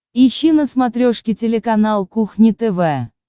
ищи на смотрешке телеканал кухня тв